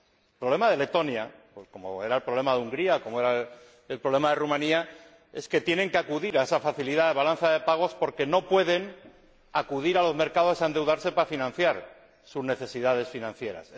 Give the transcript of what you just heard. El problema de Letonia, como era el problema de Hungría o el problema de Rumanía, es que tienen que acudir a esa facilidad de balanza de pagos porque no pueden acudir a los mercados a endeudarse para financiar sus necesidades financieras.